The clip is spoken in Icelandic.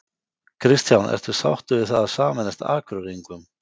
Kristján: Ertu sáttur við það að sameinast Akureyringum?